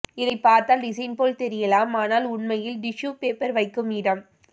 இதை பார்த்தால் டிசைன் போல் தெரியலாம் ஆனால் உண்மையில் டிஷ்யூ பேப்பர் வைக்கும் இடம்